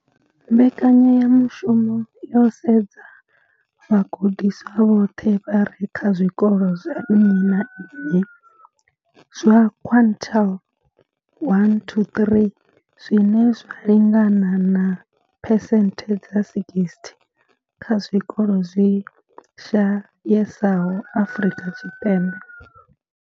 Mbekanyamushumo yo sedza vhagudiswa vhoṱhe vha re kha zwikolo zwa nnyi na nnyi zwa quintile 1 to 3, zwine zwa lingana na phesenthe dza 60 ya zwikolo zwi shayesaho Afrika Tshipembe.